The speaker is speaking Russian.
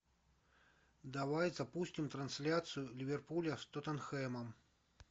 давай запустим трансляцию ливерпуля с тоттенхэмом